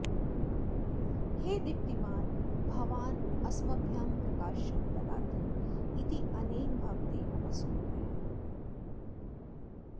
हे दीप्तिमान् भवान् अस्मभ्यं प्रकाशं ददाति इत्यनेन भवते नमस्कुर्मः